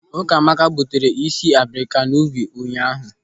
Ukamaka gbutere ịsị abrika n'ubi ụnyaahụ.